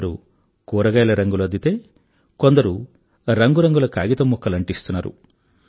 కొందరు కూరగాయల రంగులు అద్దితే కొందరు రంగురంగుల కాగితం ముక్కలు అంటిస్తున్నారు